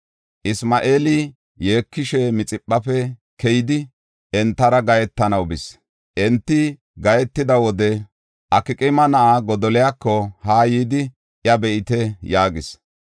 Isma7eeli yeekishe Mixiphafe keyidi, entara gahetanaw bis. Enta gahetida wode, “Akqaama na7aa Godoliyako haa yidi iya be7ite” yaagis.